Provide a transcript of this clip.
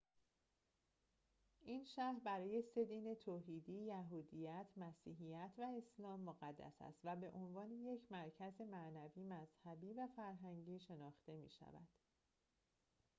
این شهر برای سه دین توحیدی یهودیت مسیحیت و اسلام مقدس است و به عنوان یک مرکز معنوی مذهبی و فرهنگی شناخته می‌شود